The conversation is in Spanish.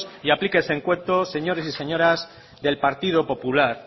y aplíquense el cuento señores y señoras del partido popular